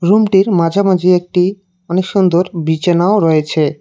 রুমটির মাঝামাঝি একটি অনেক সুন্দর বিচানাও রয়েছে।